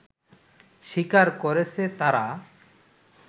স্বীকার করেছে তারা